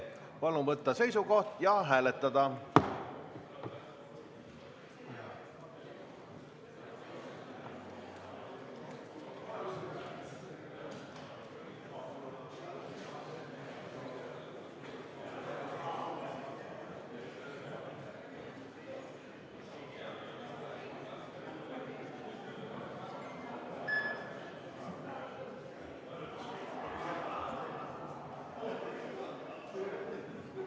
Palun võtta seisukoht ja hääletada!